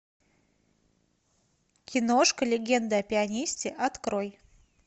киношка легенда о пианисте открой